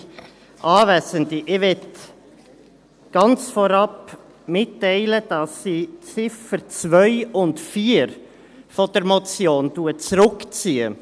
Ich möchte ganz vorab mitteilen, dass ich die Ziffern 2 und 4 der Motion zurückziehe.